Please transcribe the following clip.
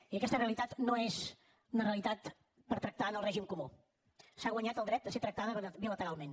i aquesta realitat no és una realitat per tractar en el règim comú s’ha guanyat el dret a ser tractada bilateralment